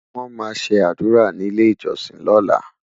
wón má sé ádùrá ní ilẹ ìjósìn lola